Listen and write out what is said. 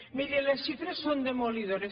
miri les xifres són demolidores